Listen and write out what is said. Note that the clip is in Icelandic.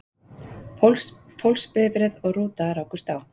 Fólksbifreið og rúta rákust á